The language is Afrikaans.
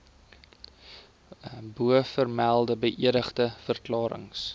bovermelde beëdigde verklarings